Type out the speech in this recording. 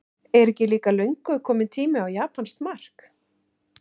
Er ekki líka löngu kominn tími á japanskt mark?